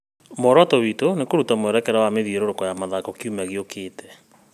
Muoroto witũ nĩ kũruta mwerekera wa mĩthiũrũrũko ya mĩthako kiumia gĩũkĩte